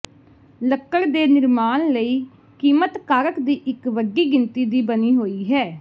ਲੱਕੜ ਦੇ ਨਿਰਮਾਣ ਲਈ ਕੀਮਤ ਕਾਰਕ ਦੀ ਇੱਕ ਵੱਡੀ ਗਿਣਤੀ ਦੀ ਬਣੀ ਹੋਈ ਹੈ